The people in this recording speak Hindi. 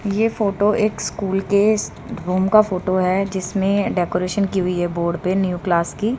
ये फोटो एक स्कूल के रूम का फोटो है जिसमें डेकोरेशन की हुई है बोर्ड पे न्यू क्लास की।